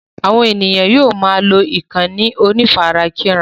Àwọn ènìyàn yóò máa lọ ìkànnì onífarakínra.